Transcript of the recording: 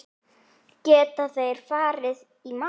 Geta þeir farið í mál?